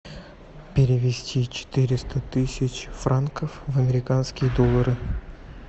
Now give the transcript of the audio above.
перевести четыреста тысяч франков в американские доллары